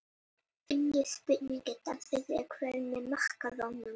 Önnur spurning dagsins er: Hver verður markakóngur?